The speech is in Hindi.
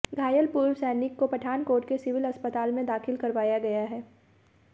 घायल पूर्व सैनिक को पठानकोट के सिविल अस्पताल में दाखिल करवाया गया है